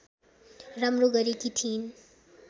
राम्रो गरेकी थिइन्